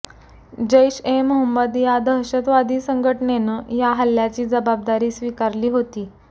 जैश ए मोहम्मद या दहशतवादी संघटनेनं या हल्ल्याची जबाबदारी स्वीकारली होती